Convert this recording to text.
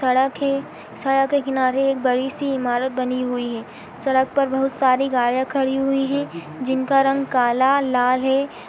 सड़क है सड़क के किनारे एक बड़ी सी इमारत बनी हुई है। सड़क पर बहुत सारी गाड़ियाँ खड़ी हुई हैं जिनका रंग काला लाल है। --